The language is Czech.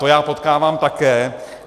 To já potkávám také.